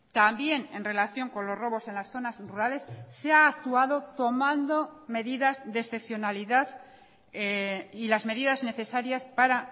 también en relación con los robos en las zonas rurales se ha actuado tomando medidas de excepcionalidad y las medidas necesarias para